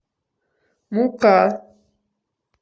мука